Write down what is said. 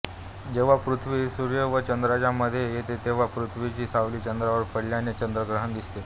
जेव्हा पृथ्वी ही सूर्य व चंद्राच्या मध्ये येते तेव्हा पृथ्वीची सावली चंद्रावर पडल्याने चंद्रग्रहण दिसते